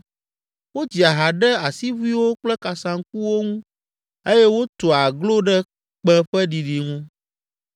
Wodzia ha ɖe asiʋuiwo kple kasaŋkuwo ŋu eye wotua aglo ɖe kpẽ ƒe ɖiɖi ŋu.